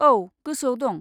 औ, गोसोआव दं।